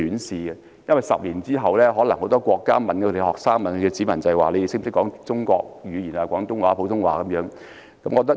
十年後，很多國家的學生、國民也可能會被問到能否說廣東話、普通話等中國語言。